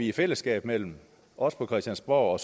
i fællesskab mellem os på christiansborg og